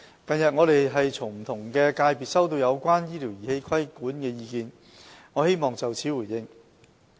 近日，我們從不同界別收到有關醫療儀器規管的意見。我希望就此作回應。